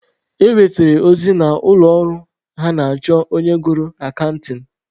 E nwetere ozi na ụlọ ọrụ ha na-achọ onye gụrụ akantịn.